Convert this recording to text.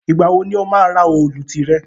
Ìgbà wo ni o máa ra òòlù tìrẹ